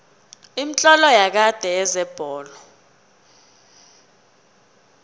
imitlolo yakade yezebholo